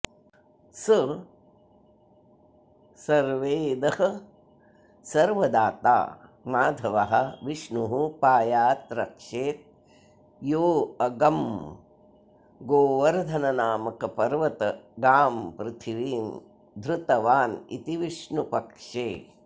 स संर्वेदः सर्वदाता माधवः विष्णुः पायात् रक्षेत् योऽगं गोवर्द्धननामक पर्वत गां पृथ्वीं धृतवानिति विष्णुपक्षे